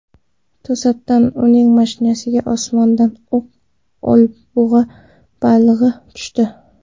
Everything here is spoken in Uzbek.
To‘satdan uning mashinasiga osmondan oq olabug‘a balig‘i tushdi.